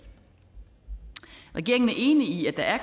regeringen er enig i at der er